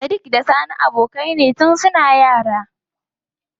Sadik da sani abokai ne tun suna yara.